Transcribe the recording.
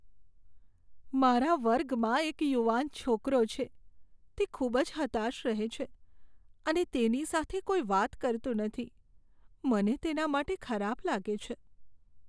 મારા વર્ગમાં એક યુવાન છોકરો છે, જે ખૂબ જ હતાશ રહે છે અને તેની સાથે કોઈ વાત કરતું નથી. મને તેના માટે ખરાબ લાગે છે.